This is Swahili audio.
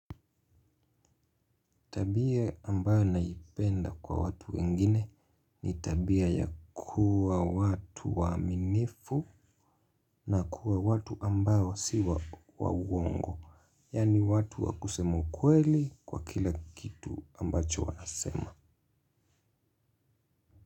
Tabia ambayo naipenda kwa watu wengine ni tabia ya kuwa watu waaminifu na kuwa watu ambayo siwa waongo. Yaani watu wa kusemu ukweli kwa kila kitu ambacho wanasema.